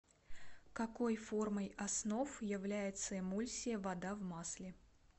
какой формой основ является эмульсия вода в масле